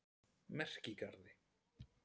Merkigarði